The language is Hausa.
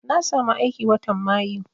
Na samu aiki watan mayu